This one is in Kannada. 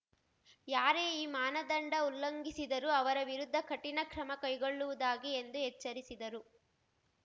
ಯಾರೇ ಈ ಮಾನದಂಡ ಉಲ್ಲಂಘಿಸಿದರೂ ಅವರ ವಿರುದ್ಧ ಕಠಿಣ ಕ್ರಮ ಕೈಗೊಳ್ಳುವುದಾಗಿ ಎಂದು ಎಚ್ಚರಿಸಿದರು